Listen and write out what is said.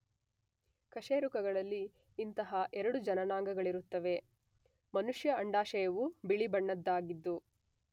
ಕಶೇರುಕಗಳಲ್ಲಿ ಇಂತಹ ಎರಡು ಜನನಾಂಗಳಿರುತ್ತವೆ.ಮನುಷ್ಯ ಅಂಡಾಶಯವು ಬಿಳಿ ಬಣ್ಣದ್ದಾಗಿದ್ದು